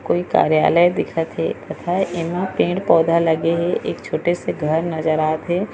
कोई कार्यालय दिखत हे तथा एमा पेड़-पौधा लगे हे एक छोटे से घर नज़र आथे।